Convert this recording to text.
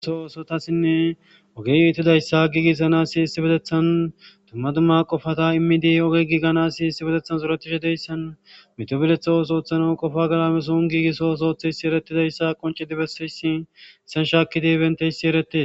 Issi addey ha alidi eqidays beetes.